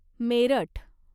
Meerut